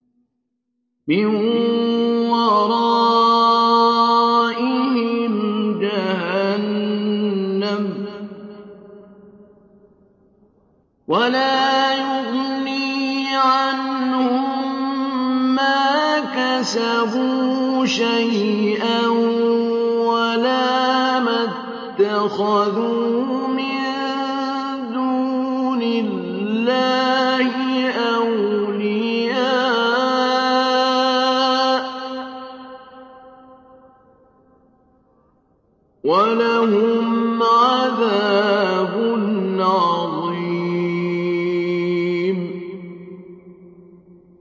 مِّن وَرَائِهِمْ جَهَنَّمُ ۖ وَلَا يُغْنِي عَنْهُم مَّا كَسَبُوا شَيْئًا وَلَا مَا اتَّخَذُوا مِن دُونِ اللَّهِ أَوْلِيَاءَ ۖ وَلَهُمْ عَذَابٌ عَظِيمٌ